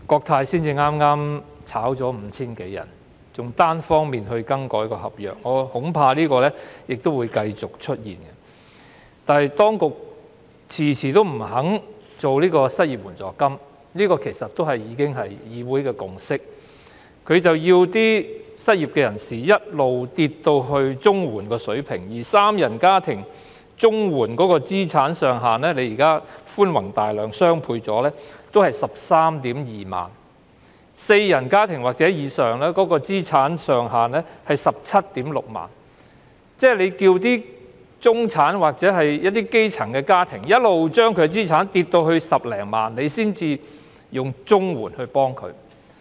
即使當局早前寬宏大量，把申領綜援的資產上限調高一倍，三人家庭的資產上限亦只是 132,000 元，四人或以上家庭的資產上限則是 176,000 元。當局為何要求中產或基層家庭的資產跌至10多萬元才以綜援來幫助他們？